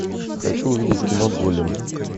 хочу увидеть кино голем